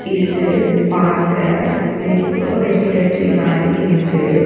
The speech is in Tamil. இது பாக்க ஏதோ ரெசிடென்சி மாறி இருக்கு.